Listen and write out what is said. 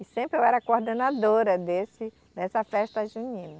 E sempre eu era coordenadora desse dessa festa junina.